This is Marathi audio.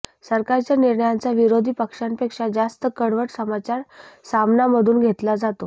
सरकारच्या निर्णयांचा विरोधी पक्षांपेक्षा जास्त कडवट समाचार सामनामधून घेतला जातो